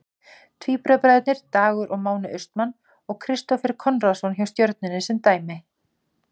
Tvíburabræðurnir Dagur og Máni Austmann og Kristófer Konráðsson hjá Stjörnunni sem dæmi.